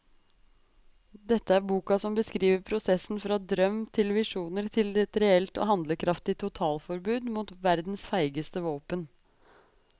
Dette er boka som beskriver prosessen fra drøm til visjoner til et reelt og handlekraftig totalforbud mot verdens feigeste våpen.